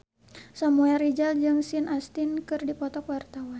Samuel Rizal jeung Sean Astin keur dipoto ku wartawan